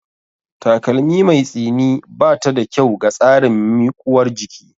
Takalmi mai tsini bata da kyau ga tsarin miƙuwar jiki